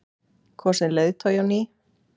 Kosinn leiðtogi á ný?